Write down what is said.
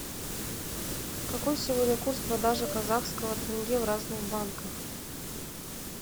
какой сегодня курс продажи казахского тенге в разных банках